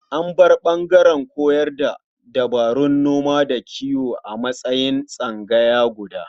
An bar ɓangaren koyar da dabarun noma da kiwo a matsayin tsangaya guda.